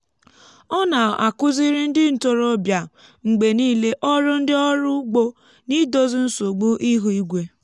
ọ na-akụziri ndị ntorobịa mgbe niile ọrụ ndị ọrụ ugbo n’idozi nsogbu ihu igwe.